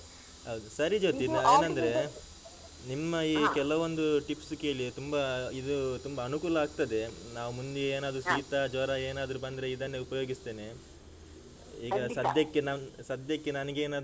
ಹೌದು ಸರಿ ಜ್ಯೋತಿ ನಾನ್ ಏನಂದ್ರೆ ನಿಮ್ಮ ಈ ಕೆಲವೊಂದು ಟಿಪ್ಸ್ ಕೇಳಿ ತುಂಬ ಇದು ತುಂಬ ಅನುಕೂಲ ಆಗ್ತದೆ ನಾವ್ ಮುಂದೆ ಏನಾದ್ರೂ ಶೀತ, ಜ್ವರ ಏನಾದ್ರೂ ಬಂದ್ರೆ ಇದನ್ನೇ ಉಪಯೋಗಿಸ್ತೇನೆ ಈಗ ಸದ್ಯಕ್ಕೆ ನಾನ್ ಸದ್ಯಕ್ಕೆ ನನಿಗೇನಾದ್ರೂ.